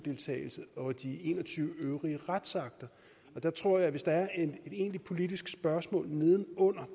og de en og tyve øvrige retsakter og der tror jeg at hvis der er et egentligt politisk spørgsmål neden under